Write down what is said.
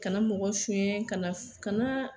Kana mɔgɔ sunyɛn ka kana kana.